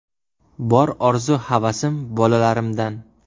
Bor orzu-havasim bolalarimdan.